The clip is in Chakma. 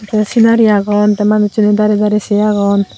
tey sinari agon tey manussuney darey darey sei agon.